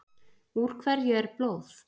Úr hverju er blóð?